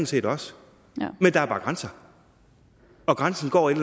set også men der er bare grænser og grænsen går et